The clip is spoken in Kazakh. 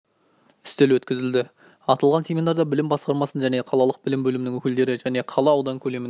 үстел өткізілді аталған семинарда білім басқармасының және қалалық білім бөлімінің өкілдері және қала аудан көлемінде